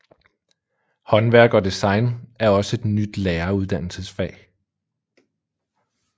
Håndværk og design er også et nyt læreruddannelsesfag